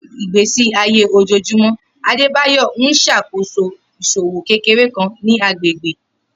Ni igbesi aye ojoojumọ, Adebayor n ṣakoso iṣowo kekere kan ni agbegbe.